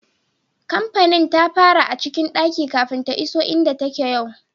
Kampanin ta fara a cikin daki kafin ta iso inda take yau.